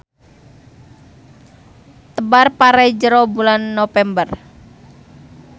Tebar pare jero bulan Nopember.